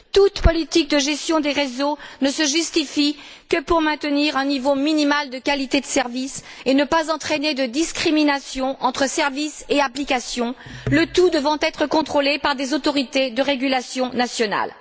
Toute politique de gestion des réseaux ne se justifie que pour maintenir un niveau minimal de qualité de services et ne pas entraîner de discrimination entre services et applications, le tout devant être contrôlé par des autorités de régulation nationales.